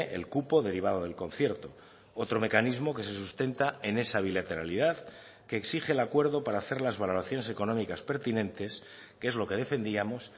el cupo derivado del concierto otro mecanismo que se sustenta en esa bilateralidad que exige el acuerdo para hacer las valoraciones económicas pertinentes que es lo que defendíamos